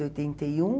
e oitenta e um